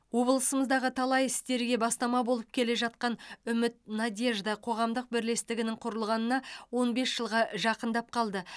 облысымыздағы талай істерге бастама болып келе жатқан үміт надежда қоғамдық бірлестігінің құрылғанына он бес жылға жақындап қалды